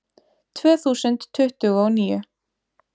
Tvö þúsund tuttugu og níu